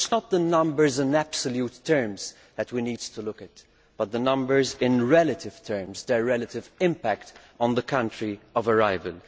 So it is not the numbers in absolute terms that we need to look at, but the numbers in relative terms their relative impact on the country of arrival.